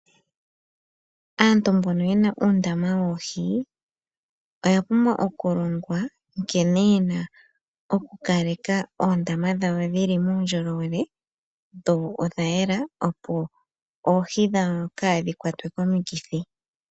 Aantu mbono yena uundama woohi oya pumbwa oku longwa nkene yena oku kaleka oondama dhawo dhili muundjolowele, dho odha yela, opo oohi dhawo kaadhi kwatwe komikithi.